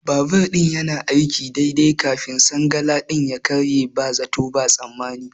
Babur ɗin yanayin aiki daidai kafin sangalalin ya karye ba zato ba tsammani.